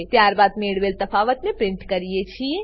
ત્યારબાદ મળેલ તફાવતને પ્રીંટ કરીએ છીએ